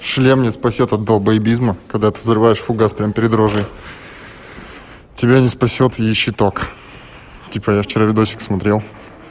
шлем не спасёт от долбоебизма когда ты взрываешь фугас перед рожей тебя не спасёт и щиток типа я вчера видео смотрел